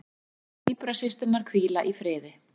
Sagði tvíburasysturnar hvíla í friði